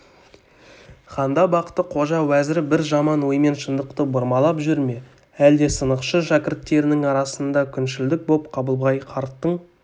ханда бақты-қожа уәзірі бір жаман оймен шындықты бұрмалап жүр ме әлде сынықшы шәкірттерінің арасында күншілдік боп қабылбай қарттың